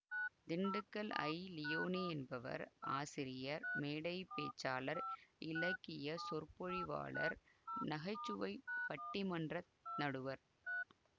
Dindigul I Leoni என்பவர் ஆசிரியர் மேடை பேச்சாளர் இலக்கிய சொற்பொழிவாளர் நகைச்சுவை பட்டிமன்ற நடுவர்